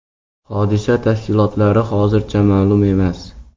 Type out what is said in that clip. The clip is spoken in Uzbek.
Hodisa tafsilotlari hozircha ma’lum emas.